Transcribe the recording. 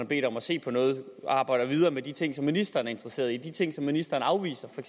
bedt om at se på noget arbejder videre med de ting som ministeren er interesseret i de ting som ministeren afviser for